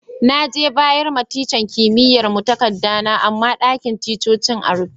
Na je bayar ma tican kimiyya'n mu takada na, amma ɗakin ticcocin na rufe.